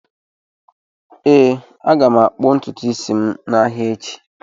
Ee, m ga-akpụ ntutu isi m n'ahịa echi.